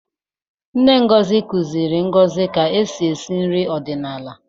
Nne Ngozi kụziiri Ngozi ka e si esi nri ọdịnala.